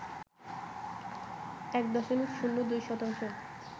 ১ দশমিক শূন্য ২ শতাংশ